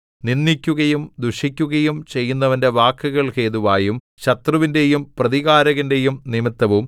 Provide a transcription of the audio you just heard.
നിന്ദിക്കുകയും ദുഷിക്കുകയും ചെയ്യുന്നവന്റെ വാക്കുകൾ ഹേതുവായും ശത്രുവിന്റെയും പ്രതികാരകന്റെയും നിമിത്തവും